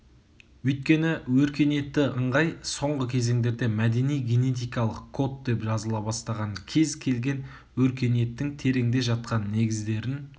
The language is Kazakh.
өйткені өркениетті ыңғай соңғы кезеңдерде мәдени-генетикалық код деп жазыла бастаған кез келген өркениеттің тереңде жатқан негіздерін